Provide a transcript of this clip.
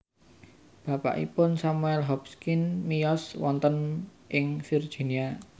Bapakipun Samuel Hopkins miyos wonten ing Virginia